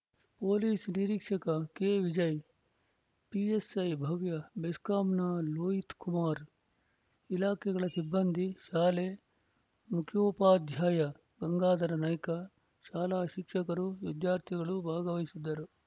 police ನಿರೀಕ್ಷಕ ಕೆವಿಜಯ PSI Bhavya ಬೆಸ್ಕಾಂನ ಲೋಹಿತಕುಮಾರ ಇಲಾಖೆಗಳ ಸಿಬ್ಬಂದಿ ಶಾಲೆ ಮುಖ್ಯೋಪಾಧ್ಯಾಯ ಗಂಗಾಧರ ನಾಯ್ಕ ಶಾಲಾ ಶಿಕ್ಷಕರು ವಿದ್ಯಾರ್ಥಿಗಳು ಭಾಗವಹಿಸಿದ್ದರು